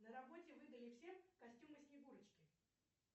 на работе выдали всем костюмы снегурочки